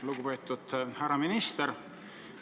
Lugupeetud härra minister!